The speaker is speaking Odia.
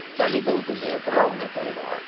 ଚାଲିବାକୁ ଦେଉଥିଲେ ଆଗରୁ ହେଲେ ଆଉ ଏଥର ନାହିଁ